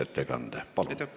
Palun!